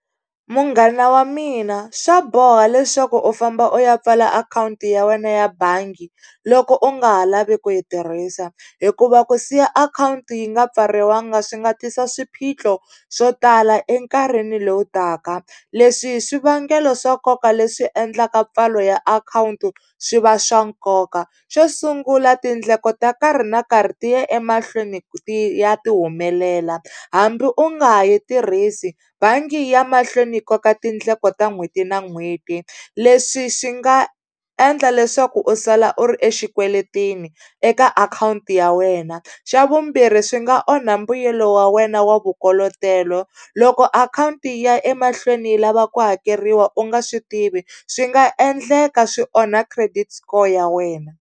Munghana wa mina swa boha leswaku u famba u ya pfala akhawunti ya wena ya bangi loko u nga ha lavi ku yi tirhisa hikuva ku siya akhawunti yi nga pfariwanga swi nga tisa swiphiqo swo tala enkarhini lowu taka leswi i swivangelo swa nkoka leswi endlaka mpfalo ya akhawunti swi va swa nkoka xo sungula tindleko ta nkarhi na nkarhi ti ya emahlweni ti ya ti humelela hambi u nga ha yi tirhisi bangi ya mahlweni yi koka tindleko ta n'hweti na n'hweti leswi swi nga endla leswaku u sala u ri exikweleteni eka akhawunti ya wena xa vumbirhi swi nga onha mbuyelo wa wena wa vukolotelo loko akhawunti yi ya emahlweni yi lava ku hakeriwa u nga swi tivi swi nga endleka swi onha credit score ya wena.